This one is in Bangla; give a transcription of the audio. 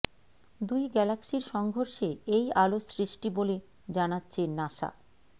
দুই গ্যালাক্সির সংঘর্ষে এই আলোর সৃষ্টি বলে জানাচ্ছে নাসা